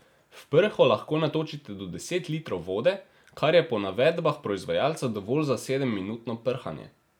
V prho lahko natočite do deset litrov vode, kar je po navedbah proizvajalca dovolj za sedemminutno prhanje.